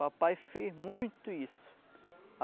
Papai fez muito isso.